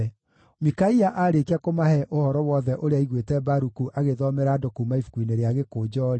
Mikaia aarĩkia kũmahe ũhoro wothe ũrĩa aiguĩte Baruku agĩthomera andũ kuuma ibuku-inĩ rĩa gĩkũnjo-rĩ,